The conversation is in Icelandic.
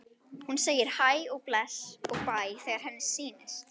Hún segir hæ og bless og bæ þegar henni sýnist!